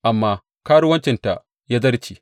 Amma karuwancinta ya zarce.